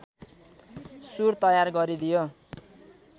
सुर तयार गरिदियो